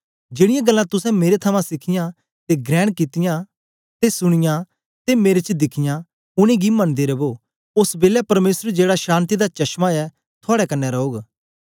जेड़ीयां गल्लां तुसें मेरे थमां सिखियां ते ग्रहण कित्तियां ते सुनीयां ते मेरे च दिखियां उनेंगी गी मनदे रवो ओस बेलै परमेसर जेड़ा शान्ति दा चश्मां ऐ थुआड़े कन्ने रौग